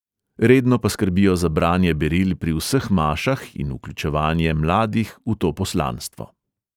Redno pa skrbijo za branje beril pri vseh mašah in vključevanje mladih v to poslanstvo.